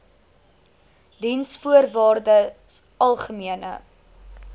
diensvoorwaardesalgemene